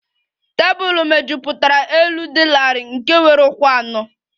Tebụl mejupụtara elu dị larịị nke nwere ụkwụ anọ